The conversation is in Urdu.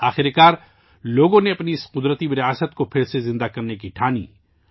آخر کار، لوگوں نے اپنے اس قدرتی ورثے کو پھر سے زندہ کرنے کا فیصلہ کیا